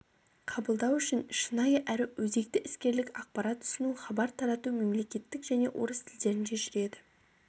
қабылдау үшін шынайы әрі өзекті іскерлік ақпарат ұсыну хабар тарату мемлекеттік және орыс тілдерінде жүреді